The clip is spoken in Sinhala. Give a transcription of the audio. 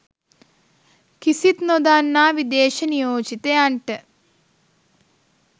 කිසිත් නොදන්නා විදේශ නියෝජිතයන්ට